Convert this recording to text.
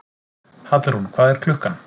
Hallrún, hvað er klukkan?